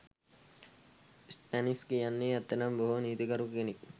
Stannis කියන්නෙ ඇත්තටම බොහොම නීතිගරුක කෙනෙක්.